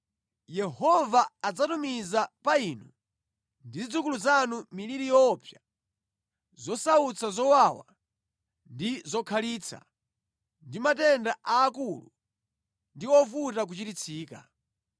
Yehova adzatumiza pa inu ndi zidzukulu zanu miliri yoopsa, zosautsa zowawa ndi zokhalitsa, ndi matenda aakulu ndi ovuta kuchiritsika.